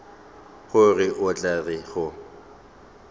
gore o tla re go